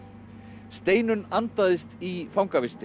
Steinunn andaðist í